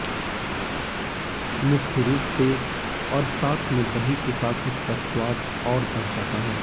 मुख्य रूप से और साथ में दही के साथ इसका स्वाद और बढ़ जाता है